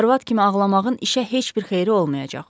Arvad kimi ağlamağın işə heç bir xeyri olmayacaq.